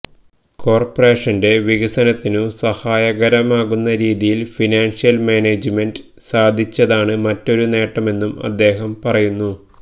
കോര്പ്പറേഷന്റെ വികസനത്തിനു സഹായകരമാകുന്ന രീതിയില് ഫിനാന്ഷ്യല് മാനേജ്മെന്റ് സാധിച്ചതാണ് മറ്റൊരു നേട്ടമെന്നും അദ്ദേഹം പറയുന്നു